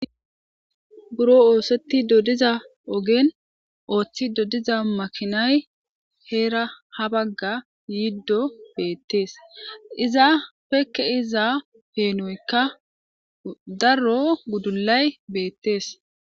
buro oosettido diza ogen ooththido diza makinay heera ha bagga yiiddo beettees iza pekke iza peenoykka darro guddullay beettees